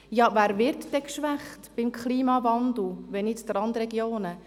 Ja, wer wird denn durch den Klimawandel geschwächt, wenn nicht die Randregionen?